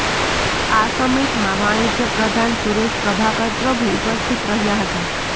આ સમિટમાં વાણિજ્યપ્રધાન સુરેશ પ્રભાકર પ્રભુ ઉપસ્થિત રહ્યા હતા